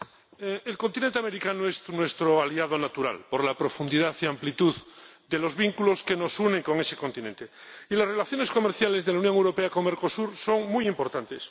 Señora Presidenta, el continente americano es nuestro aliado natural por la profundidad y amplitud de los vínculos que nos unen con ese continente, y las relaciones comerciales de la Unión Europea con Mercosur son muy importantes.